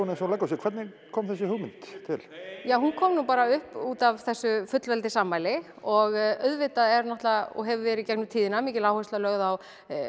eins og hún leggur sig hvernig kom þessi hugmynd til ja hún kom nú bara upp út af þessu fullveldisafmæli og auðvitað er náttúrulega og hefur verið í gegnum tíðina mikil áhersla lögð á